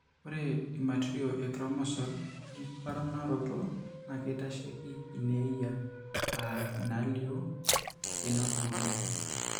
Ore imatirio enchromosal emponaroto naa keitasheiki ineeyia aa inaalioo einapukunoto.